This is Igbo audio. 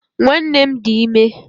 Nwanne m dị ime